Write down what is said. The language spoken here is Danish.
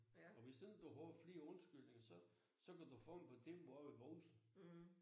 Og hvis ikke du har flere undskyldninger så så kan du få en betinget brev i måsen